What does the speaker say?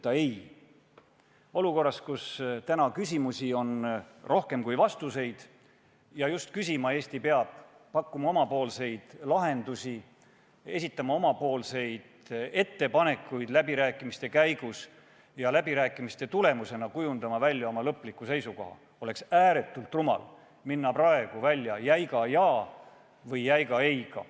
Tänases olukorras, kus küsimusi on rohkem kui vastuseid – ja küsima Eesti peab, pakkuma oma lahendusi, esitama läbirääkimiste käigus ettepanekuid ja selle tulemusena kujundama välja oma lõpliku seisukoha –, oleks ääretult rumal minna välja jäiga jaa või jäiga ei-ga.